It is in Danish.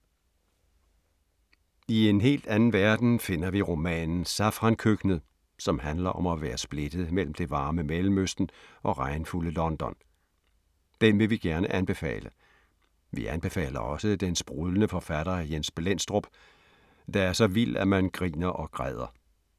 I en helt anden verden finder vi romanen Safrankøkkenet, som handler om at være splittet mellem det varme Mellemøsten og regnfulde London. Den vil vi gerne anbefale. Vi anbefaler også den sprudlende forfatter Jens Blendstrup, der er så vild, at man griner og græder.